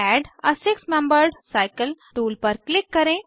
add a six membered cycle tool पर क्लिक करें